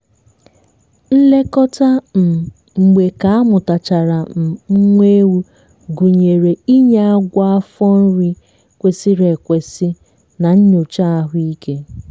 nlekọta um mgbe ka amụtachara um nwa ewu gụnyere inye agwọ afọ nri kwesịrị ekwesị na nyocha ahụike.